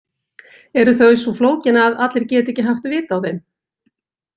Eru þau svo flókin að allir geti ekki haft vit á þeim?